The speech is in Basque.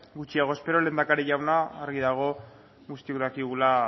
gutxiago espero lehendakari jauna argi dago guztiok dakigula